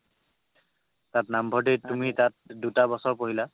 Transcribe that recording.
তাত নামভৰ্তি তুমি তাত দুটা বছৰ কৰিলা